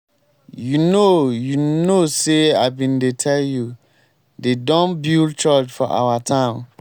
you know you know say i bin dey tell you. dey don build church for our town.